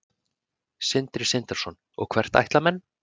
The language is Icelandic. Sindri Sindrason: Og hvert ætla menn?